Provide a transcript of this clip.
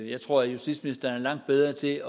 jeg tror at justitsministeren er langt bedre til